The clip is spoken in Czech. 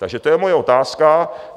Takže to je moje otázka.